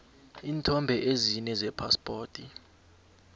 iinthombe ezine zephaspoti